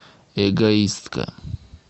эгоистка